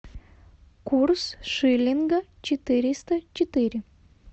курс шиллинга четыреста четыре